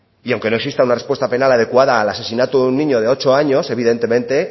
y aunque no exista una respuesta penal adecuada al asesinato de un niño de ocho años evidentemente